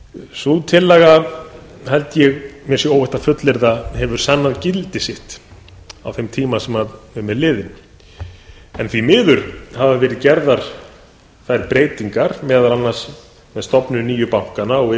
sú tillaga held ég að mér sé óhætt að fullyrða að hafi sannað gildi sitt á þeim tíma sem síðan er liðinn en því miður hafa verið gerðar þær breytingar meðal annars með stofnun nýju bankanna og